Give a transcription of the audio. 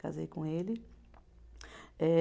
Casei com ele. Eh